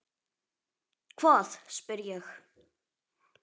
Hvað? spyr ég.